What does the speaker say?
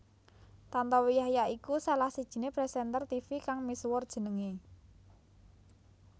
Tantowi Yahya iku salah sijiné presenter tivi kang misuwur jenengé